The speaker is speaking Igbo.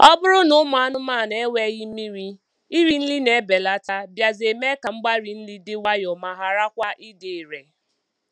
Ọ bụrụ na ụmụ anụmanụ enweghị mmiri, iri nri na-ebelata bịazịa mee ka mgbari nri dị nwayọọ ma ghara kwa ịdị irè.